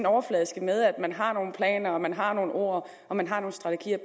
overfladiske med at man har nogle planer og man har nogle ord og man har nogle strategier